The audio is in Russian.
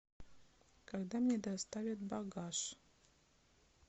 когда мне доставят багаж